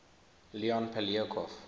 leon poliakov